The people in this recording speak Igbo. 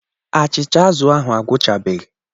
Achịcha azụ̀ ahụ agwụchabeghị.